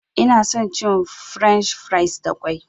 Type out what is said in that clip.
Ina son cin french fries da ƙwai.